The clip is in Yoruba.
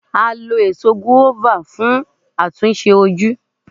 A lo Èso gùáfà fún àtúnṣe ojú.